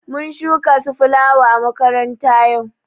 Mun shuka su filawa à makaranta yau.